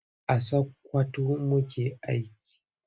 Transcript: A Sakwkwato muke aiki.